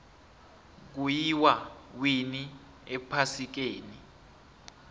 kuyiwa winni ephasikeni